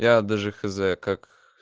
я даже хз как